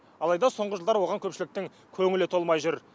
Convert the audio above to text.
алайда соңғы жылдары оған көпшіліктің көңілі толмай жүр